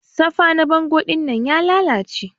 Safa na bango dinnan ya lalace.